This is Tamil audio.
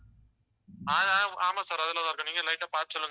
ஆமா sir அதில தான் இருக்கும் நீங்க light ஆ பார்த்து சொல்லுங்க